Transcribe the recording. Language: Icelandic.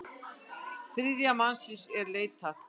Þriðja mannsins er leitað.